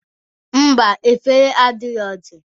Ḿbà, efere adirọzi.